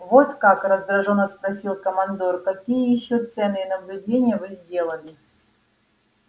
вот как раздражённо спросил командор какие ещё ценные наблюдения вы сделали